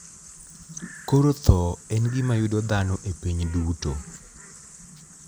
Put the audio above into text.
Koro tho en gima yudo dhano e piny duto.